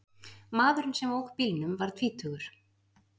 Maðurinn sem ók bílnum var tvítugur